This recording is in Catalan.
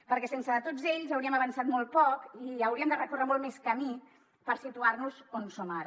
perquè sense tots ells hauríem avançat molt poc i hauríem de recórrer molt més camí per situar nos on som ara